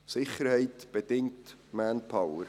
Sicherheit bedingt Manpower.